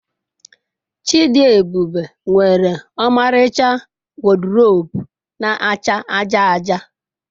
Chidiebube nwere ọmaricha wọdrobu na-acha aja aja.